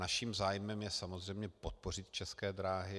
Naším zájmem je samozřejmě podpořit České dráhy.